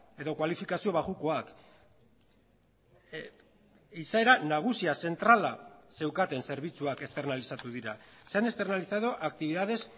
edo kualifikazio baxukoak izaera nagusia zentrala zeukaten zerbitzuak esternalizatu dira se han externalizado actividades